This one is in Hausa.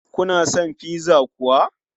Kuna son pizza kuwa?